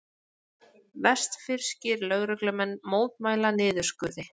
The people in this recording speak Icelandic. Vestfirskir lögreglumenn mótmæla niðurskurði